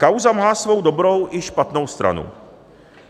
Kauza má svou dobrou i špatnou stranu.